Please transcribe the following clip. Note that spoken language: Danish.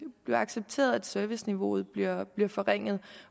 blive accepteret at serviceniveauet bliver forringet